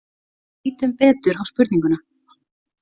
Lítum betur á spurninguna.